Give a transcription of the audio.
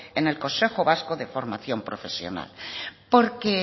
en el consejo vasco de formación profesional porque